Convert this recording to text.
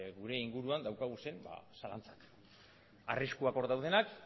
gure inguruan ditugun zalantzak arriskuak hor daudenak